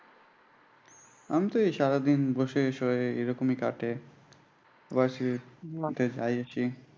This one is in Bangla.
আমিতো এই সারাদিন বসে শুয়ে এইরকমি কাটে। varsity তে যাই আসি।